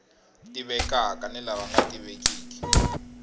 tivekaka ni lava nga tivekiki